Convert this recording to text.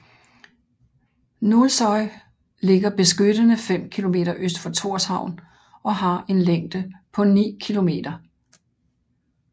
Nólsoy ligger beskyttende 5 Kilometer øst for Tórshavn og har en længde på 9 km